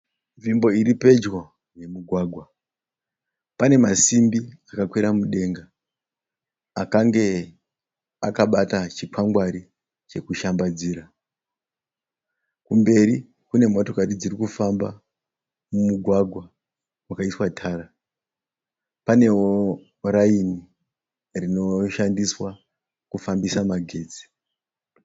Nzvimbo iripedyo nemugwagwa panemazisimbi akakwira mudenga akange akabata chikwangwari chekushambadzira. Kumberi kunemotokari dzirikufamba mumugwagwa wakaiswa tara. Panewo raini rinoshandiswa kufambisa magetsi.